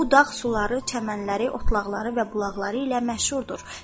Bu dağ suları, çəmənləri, otlaqları və bulaqları ilə məşhurdur.